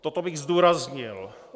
Toto bych zdůraznil.